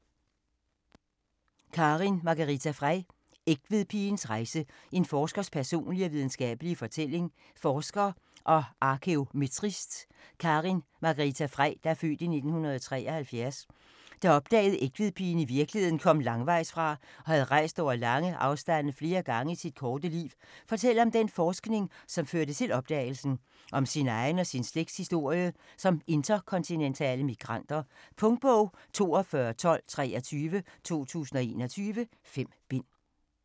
Frei, Karin Margarita: Egtvedpigens rejse: en forskers personlige og videnskabelige fortælling Forsker og arkæometrist Karin Margarita Frei (f. 1973), der opdagede at Egtvedpigen i virkeligheden kom langvejsfra og havde rejst over lange afstande flere gange i sit korte liv, fortæller om den forskning som førte til opdagelsen, og om sin egen og sin slægts historie som interkontinentale migranter. Punktbog 421223 2021. 5 bind.